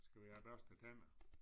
Skal vi have børstet æ tænder